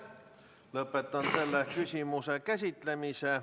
Lõpetan selle küsimuse käsitlemise.